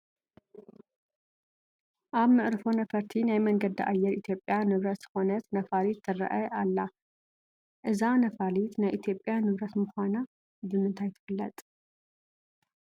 ኣብ መዕርፎ ነፈርቲ ናይ መንገዲ ኣየር ኢትዮጵያ ንብረት ዝኾነት ነፋሪት ትርአ ኣላ፡፡ እዛ ነፋሪት ናይ ኢትዮጵያ ንብረት ምዃና ብምንታይ ትፍለጥ?